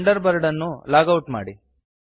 thunder bird ಅನ್ನು log out ಮಾಡಿ